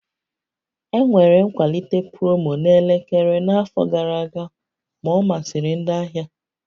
Enwere nkwalite promo na elekere n'afọ gara aga, ma ọ masịrị ndị ahịa